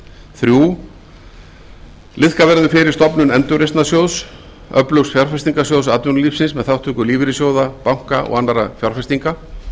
þriðja liðka verður fyrir stofnun endurreisnarsjóðs öflugs fjárfestingarsjóðs atvinnulífsins með þátttöku lífeyrissjóða banka og annarra fjárfestinga